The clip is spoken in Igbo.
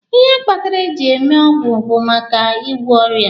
Ihe kpatara e ji eme ọgwụ bụ maka ị gwọ ọrịa.